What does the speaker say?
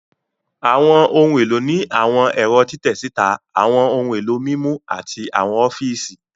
Àwọn ohun èlò ní àwọn ẹ̀rọ́ títẹ síta, àwọn ohun èlò mímú, àti àwọn ọfíìsì